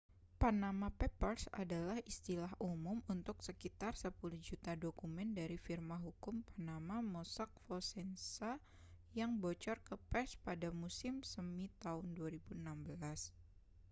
panama papers adalah istilah umum untuk sekitar sepuluh juta dokumen dari firma hukum panama mossack fonseca yang bocor ke pers pada musim semi tahun 2016